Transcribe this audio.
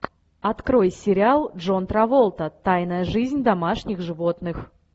открой сериал джон траволта тайная жизнь домашних животных